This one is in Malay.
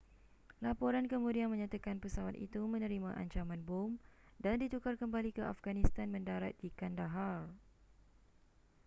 laporan kemudian menyatakan pesawat itu menerima ancaman bom dan ditukar kembali ke afghanistan mendarat di kandahar